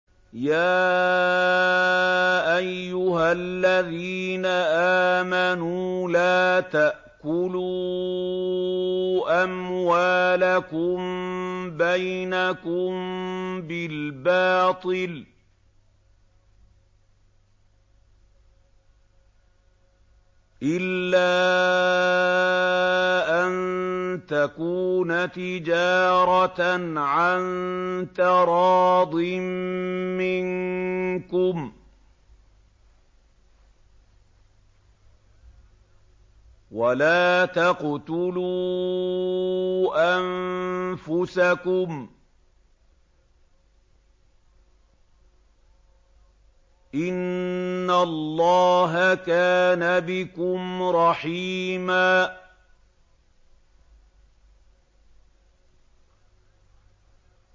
يَا أَيُّهَا الَّذِينَ آمَنُوا لَا تَأْكُلُوا أَمْوَالَكُم بَيْنَكُم بِالْبَاطِلِ إِلَّا أَن تَكُونَ تِجَارَةً عَن تَرَاضٍ مِّنكُمْ ۚ وَلَا تَقْتُلُوا أَنفُسَكُمْ ۚ إِنَّ اللَّهَ كَانَ بِكُمْ رَحِيمًا